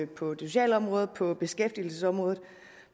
på det sociale område og på beskæftigelsesområdet